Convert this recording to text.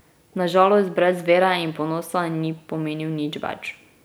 Na žalost brez vere in ponosa ni pomenil nič več.